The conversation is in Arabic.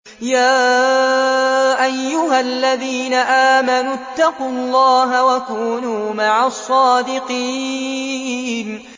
يَا أَيُّهَا الَّذِينَ آمَنُوا اتَّقُوا اللَّهَ وَكُونُوا مَعَ الصَّادِقِينَ